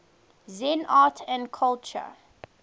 zen art and culture